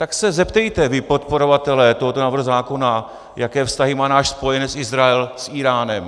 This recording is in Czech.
Tak se zeptejte, vy podporovatelé tohoto návrhu zákona, jaké vztahy má náš spojenec Izrael s Íránem.